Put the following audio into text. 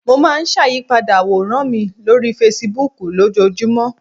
Mo máa n sàyípadà àwòrán mi lórí Fasibúùkù lójojúmọ̀